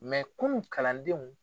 Mɛ kunun kalandenw